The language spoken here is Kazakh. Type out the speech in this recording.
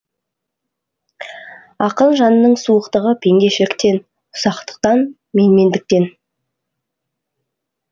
ақын жанының суықтығы пендешіліктен ұсақтықтан менмендіктен